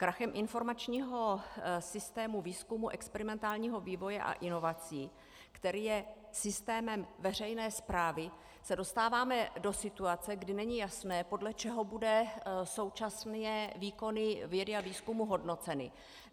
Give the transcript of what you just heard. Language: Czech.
Krachem informačního systému výzkumu, experimentálního vývoje a inovací, který je systémem veřejné správy, se dostáváme do situace, kdy není jasné, podle čeho budou současné výkony vědy a výzkumu hodnoceny.